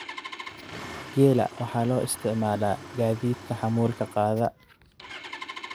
Geela waxa loo isticmaalaa gaadiidka xamuulka qaada.